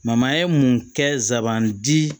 ye mun kɛ sabanan di